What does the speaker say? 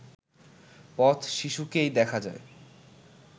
পথ-শিশুকেই দেখা যায়